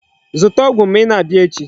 Zụta ọgwụ ma ị na-abịa echi.